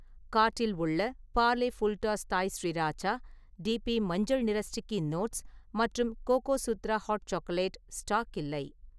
கார்ட்‌டில் உள்ள Parle full toss Thai sriracha, டிபி மஞ்சள் நிற ஸ்டிக்கி நோட்ஸ் மற்றும் கோகோசுத்ரா ஹாட் சாக்லேட் ஸ்டாக்‌ இல்லை